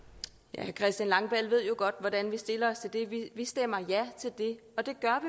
herre christian langballe ved jo godt hvordan vi stiller os til det vi stemmer ja til det og det gør